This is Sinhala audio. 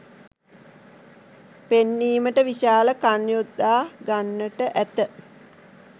පෙන්වීමට විශාල කන් යොදා ගන්නට ඇත